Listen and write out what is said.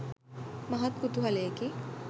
මහත් කුතුහලයකි.